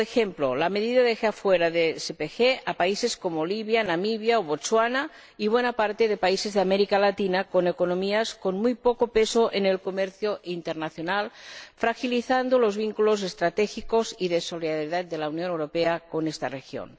A modo de ejemplo, la medida deja fuera a países como Libia, Namibia, Botsuana y a buena parte de países de América Latina con economías con muy poco peso en el comercio internacional, fragilizando los vínculos estratégicos y de solidaridad de la Unión Europea con esta región.